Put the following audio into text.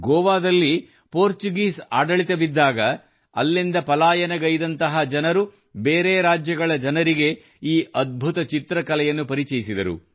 ಗೋವಾದಲ್ಲಿ ಪೋರ್ಚುಗೀಸ್ ಆಡಳಿತದಲ್ಲಿದ್ದಾಗ ಅಲ್ಲಿಂದ ಪಲಾಯನಗೈದಂತಹ ಜನರು ಬೇರೆ ರಾಜ್ಯಗಳ ಜನರಿಗೆ ಈ ಅದ್ಭುತ ಚಿತ್ರ ಕಲೆಯನ್ನು ಪರಿಚಯಿಸಿದರು